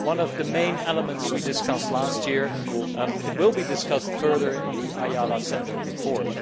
This was one of the main elements we discussed last year, and it will be discussed further in the Ayala Sender report.